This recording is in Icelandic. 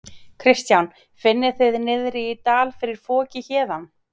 Kristján: Finnið þið niðri í dal fyrir foki héðan?